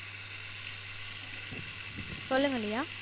சொல்லுங்க லியா